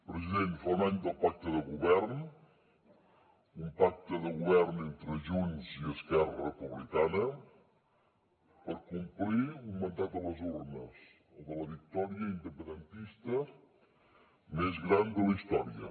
president fa un any del pacte de govern un pacte de govern entre junts i esquerra republicana per complir un mandat de les urnes el de la victòria independentista més gran de la història